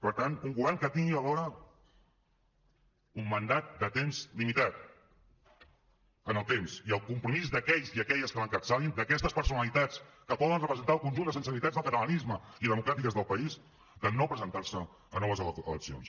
per tant un govern que tingui alhora un mandat de temps limitat en el temps i el compromís d’aquells i aquelles que l’encapçalin d’aquestes personalitats que poden representar el conjunt de sensibilitats del catalanisme i democràtiques del país de no presentar se a noves eleccions